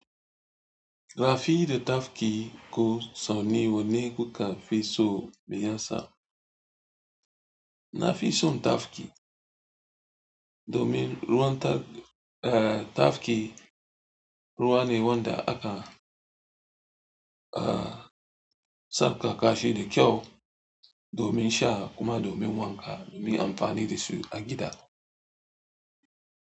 Rafida tafki ko sonni wane kuka fi so mai yasa? Na fi son tafki, domin ruwan ta-- eh tafki ruwa ne wanda aka ah sabƙa kashi da kyau domin sha kuma domin wanka, domin amfani da su a gida.